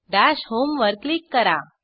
dash home वर click करा